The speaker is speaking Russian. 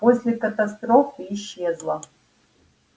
после катастрофы исчезла